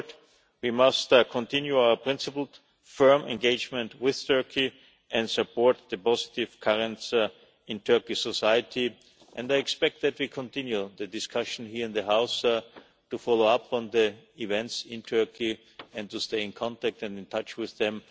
In short, we must continue our principled, firm engagement with Turkey and support the positive currents in Turkish society, and I expect that we will continue the discussion here in the House to follow up on the events in Turkey and to stay in contact and in touch with them.